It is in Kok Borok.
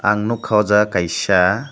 ang nogka o jaga kaisa.